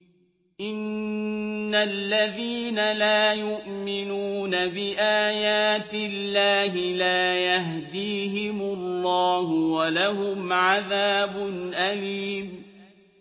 إِنَّ الَّذِينَ لَا يُؤْمِنُونَ بِآيَاتِ اللَّهِ لَا يَهْدِيهِمُ اللَّهُ وَلَهُمْ عَذَابٌ أَلِيمٌ